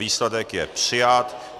Výsledek je přijat.